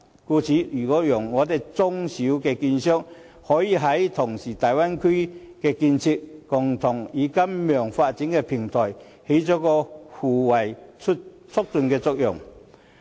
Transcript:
故此，如果讓香港的中小券商也可以同時參與大灣區的建設，共同參與金融發展的平台，便能發揮互為促進的作用。